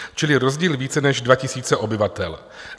Čili rozdíl více než 2 000 obyvatel.